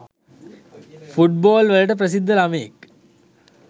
football වලට ප්‍රසිද්ධ ළමයෙක්